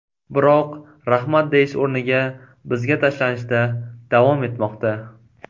Biroq ‘rahmat’ deyish o‘rniga bizga tashlanishda davom etmoqda.